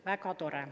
Väga tore.